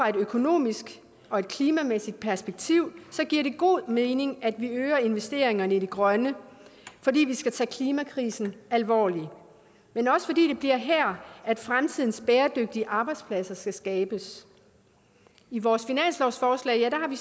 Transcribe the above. et økonomisk og et klimamæssigt perspektiv giver det god mening at vi øger investeringerne i det grønne fordi vi skal tage klimakrisen alvorligt men også fordi det bliver her fremtidens bæredygtige arbejdspladser skal skabes i vores finanslovsforslag har vi